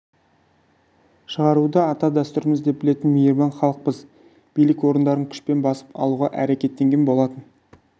шығаруды ата дәстүріміз деп білетін мейірбан халықпыз билік орындарын күшпен басып алуға әрекеттенген болатын